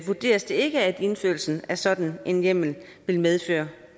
vurderes det ikke at indførelsen af sådan en hjemmel vil medføre